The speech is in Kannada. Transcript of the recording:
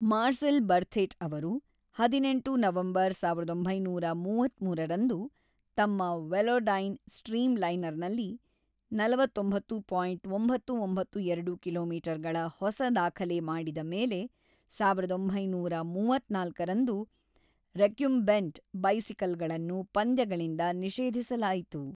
ಮಾರ್ಸೆಲ್‌ ಬರ್ಥೆಟ್‌ ಅವರು ಹದಿನೆಂಟು ನವೆಂಬರ್ ಸಾವಿರದ ಒಂಬೈನೂರ ಮೂವತ್ತ್ಮೂರರಂದು ತಮ್ಮ ವೆಲೋಡೈನ್‌ ಸ್ಟ್ರೀಮ್‌ಲೈನರ್‌ನಲ್ಲಿ ನವತ್ತೊಂಬತ್ತು ಪಾಯಿಂಟ್ ಒಂಬತ್ತು ಒಂಬತ್ತು ಎರಡು ಕಿಲೋ ಮೀಟರ್ ಗಳ ಹೊಸ ದಾಖಲೆ ಮಾಡಿದ ಮೇಲೆ ಸಾವಿರದ ಒಂಬೈನೂರ ಮೂವತ್ತ್ನಾಲ್ಕು ರಂದು ರೆಕ್ಯುಂಬೆಂಟ್‌ ಬೈಸಿಕಲ್‌ಗಳನ್ನು ಪಂದ್ಯಗಳಿಂದ ನಿಷೇಧಿಸಲಾಯಿತು.